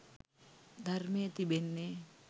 ධර්මය තිබෙන්නේ